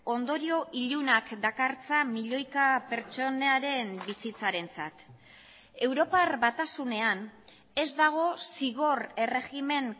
ondorio ilunak dakartza milioika pertsonaren bizitzarentzat europar batasunean ez dago zigor erregimen